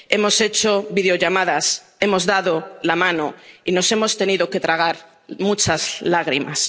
Hemos hecho videollamadas, hemos dado la mano y nos hemos tenido que tragar muchas lágrimas.